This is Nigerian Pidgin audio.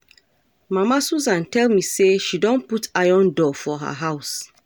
Mama Susan tell me say she don put iron door for her house